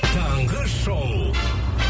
таңғы шоу